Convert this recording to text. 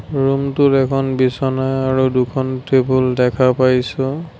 ৰূমটোৰ এখন বিছনা আৰু দুখন টেবুল দেখা পাইছোঁ।